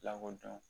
Lakɔdɔn